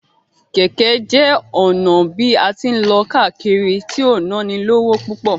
Kẹ́kẹ́ jẹ́ ọ̀nà bí a tí ń lọ káàkiri tí ò nánilówó púpọ̀.